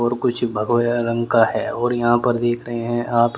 और कुछ भगव रंग का है और यहां पर देख रहे हैं आप--